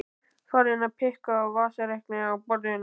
Farin að pikka á vasareikni á borðinu.